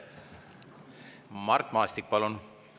Mart Maastik, palun!